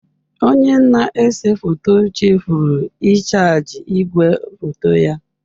Onye na-ese foto chefuru ịchaji igwefoto ya.